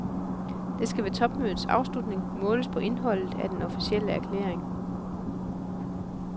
Det skal ved topmødets afslutning måles på indholdet af den officielle erklæring.